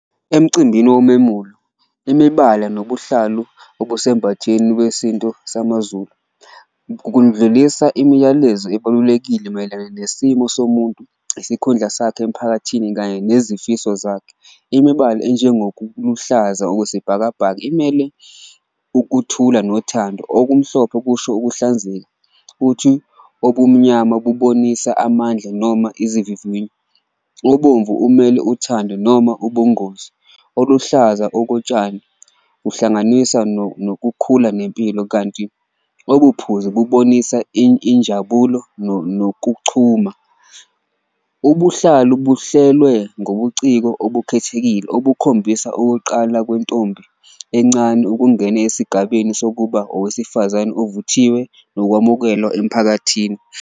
Emcimbini womemulo imibala nobuhlalu obusembatheni wesintu samaZulu kundlulisa imiyalezo ebalulekile mayelana nesimo somuntu, isikhundla sakhe emphakathini kanye nezifiso zakhe. Imibala enjengo luhlaza okwesibhakabhaka imele ukuthula nothando, okumhlophe kusho ukuhlanzeka, futhi obumnyama bubonisa amandla noma izivivinyo. Obomvu umele uthando noma ubungozi, oluhlaza okotshani uhlanganisa nokukhula nempilo, kanti obuphuzu bubonisa injabulo nokuchuma. Ubuhlalu buhlelwe ngobuciko obukhethekile obukhombisa ukuqala kwentombi encane ukungena esigabeni sokuba owesifazane ovuthiwe nokwamukelwa emiphakathini.